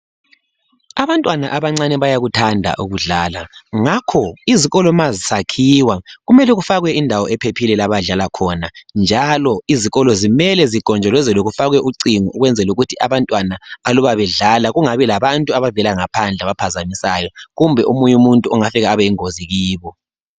Abantwana abancane bayakuthanda ukudlala ngakho izikolo ma zisakhiwa kumele kufakwe indawo ephephileyo lapho abadlala khona njalo izikolo kumele zigonjolozelwe kufakwe ucingo ukwenzela ukuthi abantwana aluba bedlala kungabi labantu abavela ngaphandle abaphazamisayo kumbe omunye umuntu ongaba yingozi kibo